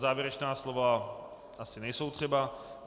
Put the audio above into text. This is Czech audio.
Závěrečná slova asi nejsou třeba.